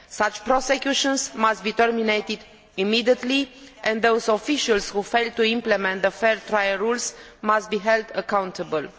Such prosecutions must be stopped immediately, and those officials who fail to implement the fair trial rules must be held accountable.